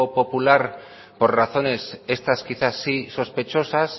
popular por razones estas quizás sí sospechosas